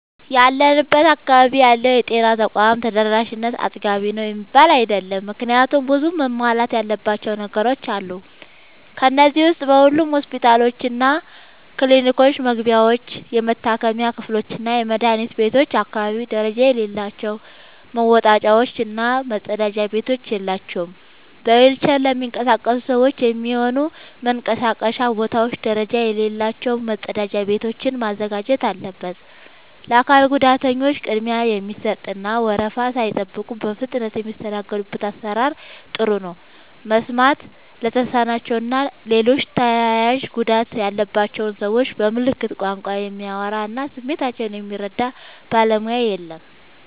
ያለንበት አካባቢ ያለው የጤና ተቋም ተደራሽነት አጥጋቢ ነው የሚባል አይደለም። ምክንያቱም ብዙ መሟላት ያለባቸው ነገሮች አሉ። ከነዚህ ዉስጥ በሁሉም ሆስፒታሎችና ክሊኒኮች መግቢያዎች፣ የመታከሚያ ክፍሎችና የመድኃኒት ቤቶች አካባቢ ደረጃ የሌላቸው መወጣጫዎች እና መጸዳጃ ቤቶች የላቸውም። በዊልቸር ለሚንቀሳቀሱ ሰዎች የሚሆኑ መንቀሳቀሻ ቦታዎች ደረጃ የሌላቸው መጸዳጃ ቤቶችን ማዘጋጀት አለበት። ለአካል ጉዳተኞች ቅድሚያ የሚሰጥ እና ወረፋ ሳይጠብቁ በፍጥነት የሚስተናገዱበት አሰራር ጥሩ ነው። መስማት ለተሳናቸው እና ሌሎች ተያያዥ ጉዳት ያለባቸውን ሰዎች በምልክት ቋንቋ የሚያወራ እና ስሜታቸውን የሚረዳ ባለሙያ የለም።